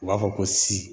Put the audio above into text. U b'a fɔ ko si